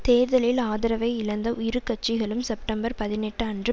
தேர்தலில் ஆதரவை இழந்த உஇரு கட்சிகளும் செப்டம்பர் பதினெட்டு அன்று